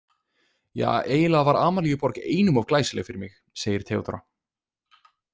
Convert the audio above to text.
Ja, eiginlega var Amalíuborg einum of glæsileg fyrir mig, segir Theodóra.